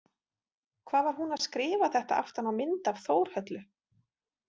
Hvað var hún að skrifa þetta aftan á mynd af Þórhöllu?